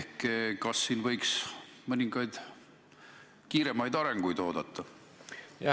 Kas selles valdkonnas võiks mõningaid kiiremaid arenguid oodata?